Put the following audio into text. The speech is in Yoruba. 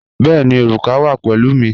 Bẹ̀ẹ̀ni, orúkà wa pẹ̀lú mi.